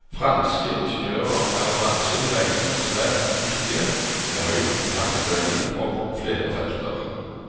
Franske ingeniører er av bransjen regnet som svært dyktige, med høy kompetanse innenfor flere felter.